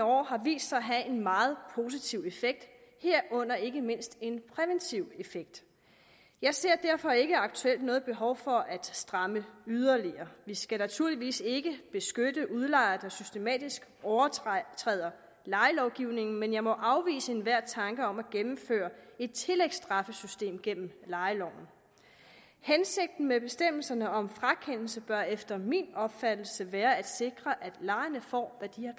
år har vist sig at have en meget positiv effekt herunder ikke mindst en præventiv effekt jeg ser derfor ikke aktuelt noget behov for at stramme yderligere vi skal naturligvis ikke beskytte udlejere der systematisk overtræder lejelovgivningen men jeg må afvise enhver tanke om at gennemføre et tillægsstraffesystem gennem lejeloven hensigten med bestemmelserne om frakendelse bør efter min opfattelse være at sikre at lejerne får hvad de